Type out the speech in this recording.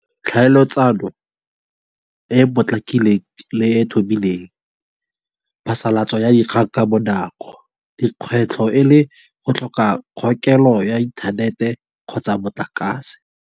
Tlhaeletsano e potlakileng le e ithobileng phasalatso ya dikgang ka bonako dikgwetlho e le go tlhoka kgokelo ya inthanete kgotsa motlakase.